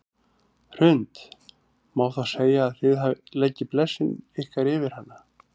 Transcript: Hrund: Má þá segja að þið leggið blessun ykkar yfir hana?